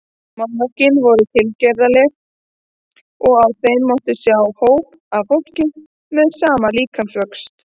Málverkin voru tilgerðarleg og á þeim mátti oft sjá hóp af fólki með sama líkamsvöxt.